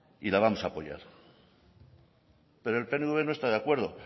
y la vamos a apoyar pero el pnv no está de acuerdo